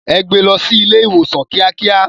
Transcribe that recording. Ẹ gbé lọ sí ilé ìwòsàn kíákíá.